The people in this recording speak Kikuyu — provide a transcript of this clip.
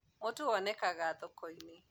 mutu wonekaga thoko-inĩ